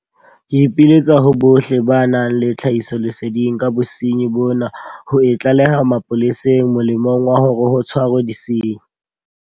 Ke ipiletsa ho bohle ba nang le tlhahisoleseding ka bosenyi bona ho e tlaleha mapoleseng molemong wa hore ho tshwarwe disenyi.